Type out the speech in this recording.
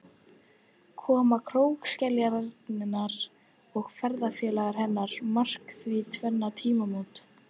Koma krókskeljarinnar og ferðafélaga hennar markar því tvenn tímamót.